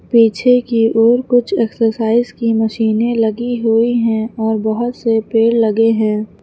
पीछे की ओर कुछ एक्सरसाइज की मशीनें लगी हुई हैं और बहोत से पेड़ लगे हैं।